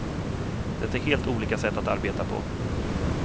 Det är helt olika sätt att arbeta på.